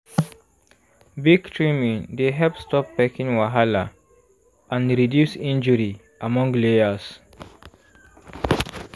beak trimming dey help stop pecking wahala and reduce injury among layers.